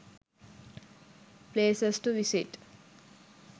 places to visit